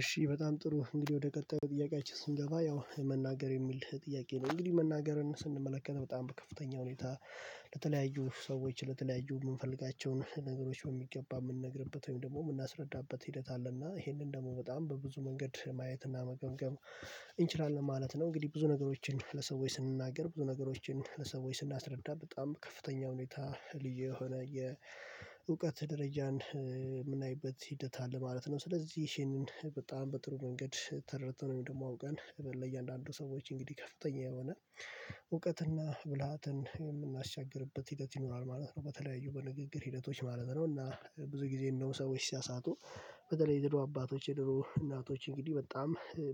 እሺ በጣም ጥሩ እንግዲህ ወደ ቀጣዩ ጥያቄያችን ስንገባ ያው መናገር የሚል ጥያቄ ነው። እንግዲህ መናገርን ስንመለከት በጣም ከፍተኛ ሁኔታ። ለተለያዩ ሰዎች ለተለያዩ የምንፈልጋቸውን ነገሮች በሚገባ የምንነግርበት ወይም ደግሞ የምናስረዳበት ሂደት አለ እና ይሄንን ደግሞ በጣም በብዙ መንገድ ማየት እና መገምገም እንችላለን ማለት ነው። እንግዲህ ብዙ ነገሮችን ለሰዎች ስንናገር ብዙ ነገሮችን ሰዎች ስናስረዳ በጣም ከፍተኛ ሁኔታ ልዩ የሆነ የእውቀት ደረጃን የምናይበት ሂደት አለ ማለት ነው። ስለዚህ ይሄንን በጣም በጥሩ መንገድ ተረድተነው ወይምደግሞ አውቀን ለእያንዳንዱ ሰዎች እንግዲህ ከፍተኛ የሆነ እውቀትና ብልሃትን የምናሻግርበት ሂደት ይኖራል ማለት ነው። በተለያዩ በንግግር ሂደቶች ማለት ነው እና ብዙ ጊዜ እንደው ሰዎች ሲያሳቱ። በተለይ የድሮ አባቶች የድሮ እናቶች እንግዲህ በጣም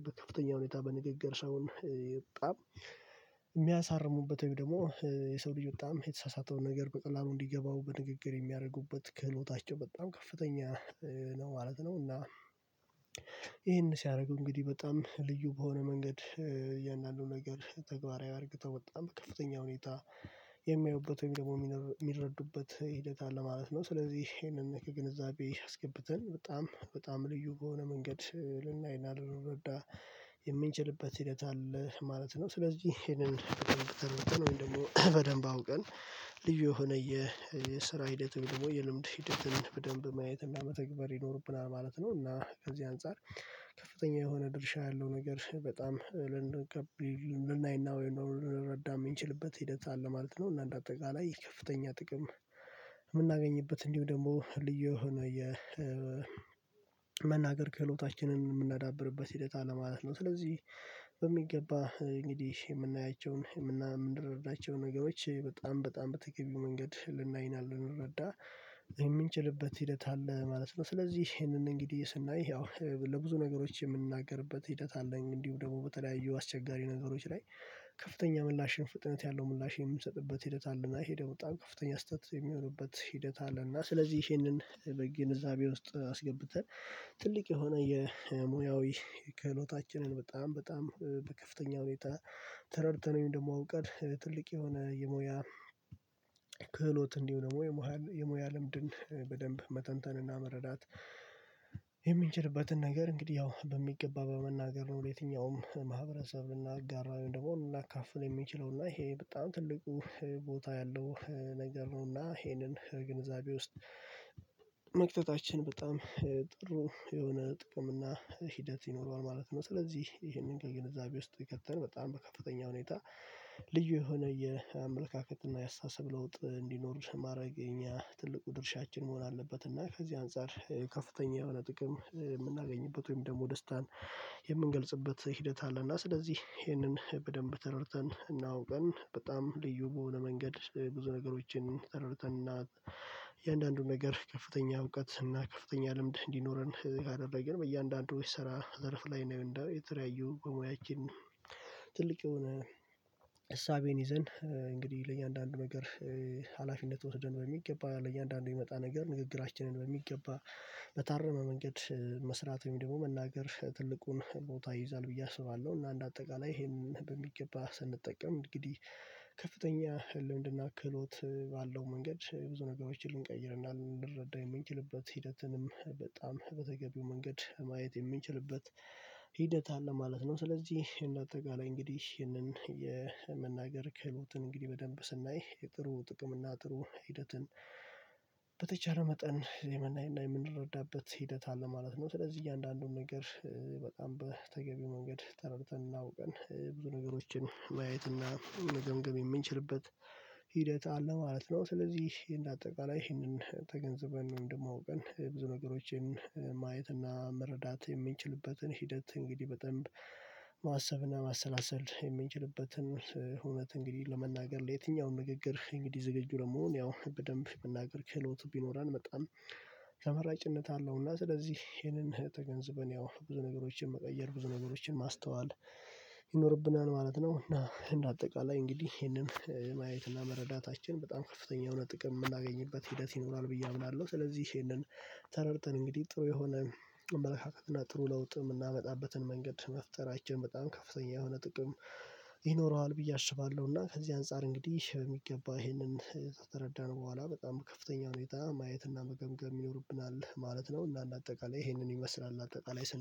በከፍተኛ ሁኔታ በንግግር ሰውን በጣም የሚያሳርሙበት ወይም ደግሞ የሰው ልጅ በጣም የተሳሳተውን ነገር በቀላሉ እንዲገባው በንግግር የሚያደርጉበት ክህሎታቸው በጣም ከፍተኛ ነው ማለት ነው። እና ይሄን ሲያደርግ እንግዲህ በጣም ልዩ በሆነ መንገድ እያንዳንዱ ነገር ተግባራዊ አድርገው በጣም ከፍተኛ ሁኔታ የሚያዩበት ወይም ደግሞ የሚረዱበት ሂደት አለ ማለት ነው። ስለዚህ ይሄንን ከግንዛቤ አስገብተን በጣም በጣም ልዩ በሆነ መንገድ ልናይና ልንረዳ የምንችልበት ሂደት አለ ማለት ነው። ስለዚህ ይሄንን ወይም ደግሞ በደንብ አውቀን ልዩ የሆነ የስራ ሂደት ደግሞ የልምድ ሂደትን በደንብ ማየት መተግብር ይኖርብናል ማለት ነው። እና ከዚህ አንፃር ከፍተኛ የሆነ ድርሻ ያለው ነገር በጣም ልንገብ ልናይና ወይ ነው ልንረዳ የምንችልበት ሂደት አለ ማለት ነው። እና እንደ አጠቃላይ ከፍተኛ ጥቅም የምናገኝበት እንዲሁ ደግሞ ልዩ የሆነ የመናገር ክህሎታችንን የምናዳብርበት ሂደት አለ ማለት ነው። ስለዚህ በሚገባ እንግዲህ የምናያቸውን የምናምን የምንረዳቸውን ነገሮች በጣም በጣም በተገቢው መንገድ ልናይናለና ልንረዳ የምንችልበት ሂደት አለ ማለት ነው። ስለዚህ ይሄንን እንግዲህ ስናይ ያው ለብዙ ነገሮች የምንናገርበት ሂደት አለኝ እንዲሁ ደግሞ በተለያዩ አስቸጋሪ ነገሮች ላይ ከፍተኛ ምላሽን ፍጥነት ያለው ምላሽ የምንሰጥበት ሂደት አለና ሄደው በጣም ከፍተኛ ስህተት የሚሆኑበት ሂደት አለ። እና ስለዚህ ይሄንን በግንዛቤ ውስጥ አስገብተን ትልቅ የሆነ የሙያዊ ከህሎታችንን በጣም በጣም በከፍተኛ ሁኔታ ተረድተነ ወይም ደግሞ አውቀን ትልቅ የሆነ የሞያ ክህሎት እንዲሆን የሞያ ልምድን በደንብ መተንተንና መረዳት ነገር እንግዲህ ያው በሚገባ በመናገር ነው። የትኛውም ማህበረሰብ ልናጋራው ደግሞ ልናካፍል የምንችለው እና ይሄ በጣም ትልቁ ቦታ ያለው ነገር ነው እና ይሄንን ግንዛቤ ውስጥ መክተታችን በጣም ጥሩ የሆነ ጥቅም እና ሂደት ይኖረዋል ማለት ነው። ስለዚህ ይሄንን ከግንዛቤ ውስጥ ይከተን በጣም በከፋተኛ ሁኔታ ልዩ የሆነ የአመለካከት እና የአስተሳሰብ ለውጥ እንዲኖር ማድረግ የኛ ትልቁ ድርሻችን መሆን አለበት። እና ከዚህ አንፃር ከፍተኛ የሆነ ጥቅም የምናገኝበት ወይም ደግሞ ደስታን የምንገልጽበት ሂደት አለና ስለዚህ ይህንን በደንብ ተረድተን እና አውቀን በጣም ልዩ በሆነ መንገድ ስለ ብዙ ነገሮችን ተረድተን እና የእያንዳንዱን ነገር ከፍተኛ እውቀት እና ከፍተኛ ልምድ እንዲኖረን ካደረግን በእያንዳንዱ ይስራ ዘርፍ ላይ ነው የተለያዩ በሙያችን ትልቅ የሆነ እሳቤን ይዘን እንግዲህ ለእያንዳንዱ ነገር ሀላፊነት ወስደን በሚገባ ለእያንዳንዱ የሚመጣ ነገር ንግግራችንን በሚገባ በታረመ መንገድ መስራት ወይም ደግሞ መናገር ትልቁን ቦታ ይይዛል ብዬ አስባለሁ። እና አንደ አጠቃላይ ይሄም በሚገባ ስንጠቀም እንግዲህ ከፍተኛ ልምድና ክህሎት ባለው መንገድ ብዙ ነገሮችን ልንቀይርና ልንረዳ የምንችልበት ሂደትንም በጣም በተገቢው መንገድ ማየት የሚችልበት ሂደት አለ ማለት ነው። ስለዚህ እና አጠቃላይ እንግዲህ ይህንን የመናገር ክህሎትን እንግዲህ በደንብ ስናይ የጥሩ ጥቅም እና ጥሩ ሂደትን በተቻለ መጠን የምናይና የምንረዳበት ሂደት አለ ማለት ነው። ስለዚህ እያንዳንዱን ነገር በጣም በተገቢ መንገድ ተረድተን እና አውቀን ብዙ ነገሮችን ማየት እና መገምገም የምንችልበት ሂደት አለ ማለት ነው። ስለዚህ እንደ አጠቃላይ ይህንን ተገንዝበን ወይም ደግሞእንደማውቀን ብዙ ነገሮችን ማየት እና መረዳት የምንችልበትን ሂደት እንግዲህ በጠንብ ማሰብና ማሰላሰል የምንችልበትን እውነት እንግዲህ ለመናገር ለየትኛውም ንግግር እንግዲህ ዝግጁ ለመሆን ያው በደንብ መናገር ክህሎት ቢኖረን በጣም ተመራጭነት አለው። እና ስለዚህ ይሄንን ተገንዝበን ያው ብዙ ነገሮችን መቀየር ብዙ ነገሮችን ማስተዋል ማለት ነው። እና እንደ አጠቃላይ እንግዲህ ይሄንን ማየትና መረዳታችን በጣም ከፍተኛ የሆነ ጥቅም የምናገኝበት ሂደት ይኖራል ብዬ አምናለሁ። ስለዚህ ይሄንን ተረድተን እንግዲህ ጥሩ የሆነ መልካም እና ጥሩ ለውጥ የምናመጣበትን መንገድ መፍጠራችን በጣም ከፍተኛ የሆነ ጥቅም ይኖረዋል ብዬ አስባለሁ። እና ከዚህ አንፃር እንግዲህ በሚገባ ይሄንን ከተረዳን በኋላ በጣም በከፍተኛ ሁኔታ ማየት እና መገምገም ይኖርብናል ማለት ነው። እና አንደ አጠቃላይ ይሄንን ይመስላል አጠቃላይ